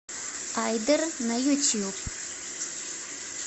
айдер на ютуб